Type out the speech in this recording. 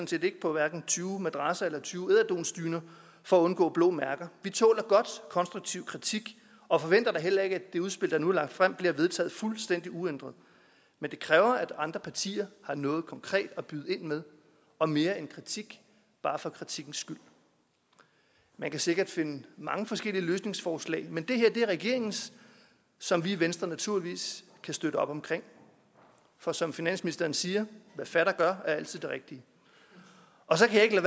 set ikke på hverken tyve madrasser eller tyve ederdunsdyner for at undgå blå mærker vi tåler godt konstruktiv kritik og forventer da heller ikke at det udspil der nu er lagt frem bliver vedtaget fuldstændig uændret men det kræver at andre partier har noget konkret at byde ind med og mere end kritik bare for kritikken skyld man kan sikkert finde mange forskellige løsningsforslag men det her er regeringens som vi i venstre naturligvis kan støtte op omkring for som finansministeren siger hvad fatter gør er altid det rigtige og så kan jeg